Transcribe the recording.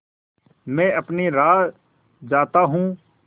मैं अपनी राह जाता हूँ